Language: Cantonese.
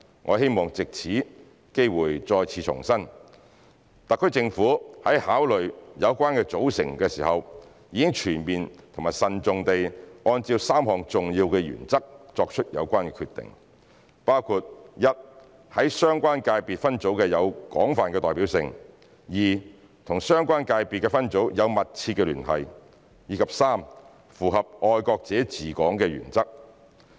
我希望藉此機會再次重申，特區政府在考慮有關組成時，已全面慎重地按照3項重要原則作出有關決定，包括 ：1 在相關界別分組有廣泛代表性、2與相關界別分組有密切聯繫，及3符合"愛國者治港"的原則。